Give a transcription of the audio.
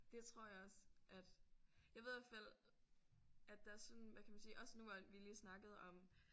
Det tror jeg også at jeg ved i hvert fald at der sådan hvad kan man sige også nu hvor at vi lige snakkede om